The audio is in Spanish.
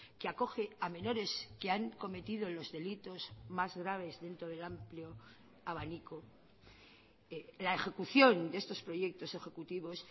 que acoge a menores que han cometido los delitos más graves dentro del amplio abanico la ejecución de estos proyectos ejecutivos